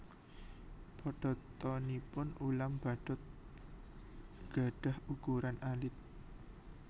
Padatanipun ulam badut gadhah ukuran alit